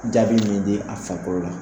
Jaabi min di a farikolo la.